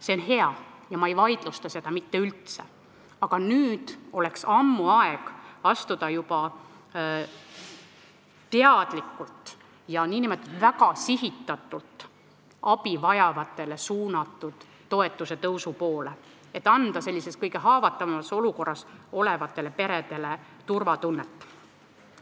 See on hea ja ma ei vaidlusta seda mitte üldse, aga ammu oleks aeg astuda teadlikult ja n-ö väga sihitatult samm abivajajatele mõeldud toetuste tõusu poole, et anda kõige haavatavamas olukorras olevatele peredele turvatunnet.